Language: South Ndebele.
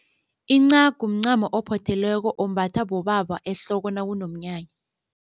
Incagu mncamo ophothelweko ombathwa bobaba ehloko nakunomnyanya.